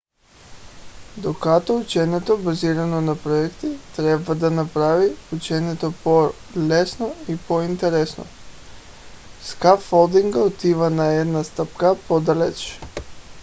докато ученето базирано на проекти трябва да направи ученето по-лесно и по-интересно скаффолдинга отива една стъпка по-далеч